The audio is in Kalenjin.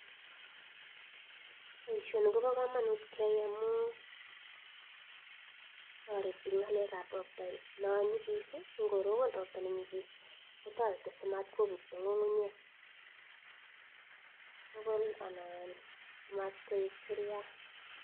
Boishoni kobokomonut keyai amun toreti ngalekab robta nonyikis ngorobon ro.bta nenyikis kotoreti simatkobuto ngungunyek tukul anan ko motkoik churiat.